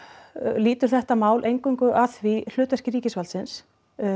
lýtur þetta mál eingöngu að því hlutverki ríkisvaldsins